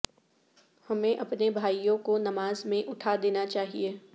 ہمیں اپنے بھائیوں کو نماز میں اٹھا دینا چاہئے